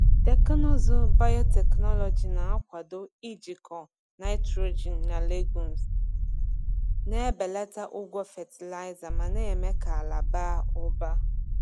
Teknụzụ biotechnology na-akwado ijikọ nitrogen na legumes, na-ebelata ụgwọ fatịlaịza ma na-eme ka ala baa ụba.